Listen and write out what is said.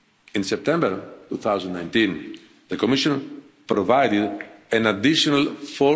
In September 2019, the Commission provided an additional EUR